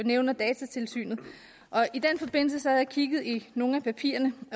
nævner datatilsynet i den forbindelse har jeg kigget i nogle af papirerne